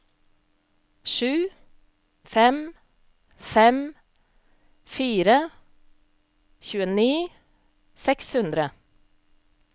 sju fem fem fire tjueni seks hundre